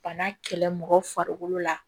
Bana kɛlɛ mɔgɔ farikolo la